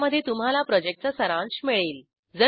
ज्यामध्ये तुम्हाला प्रॉजेक्टचा सारांश मिळेल